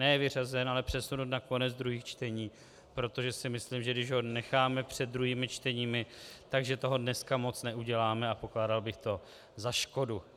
Ne vyřazen, ale přesunut na konec druhých čtení, protože si myslím, že když ho necháme před druhými čteními, tak toho dneska moc neuděláme, a pokládal bych to za škodu.